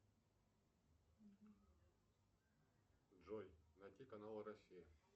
джой найти канал россия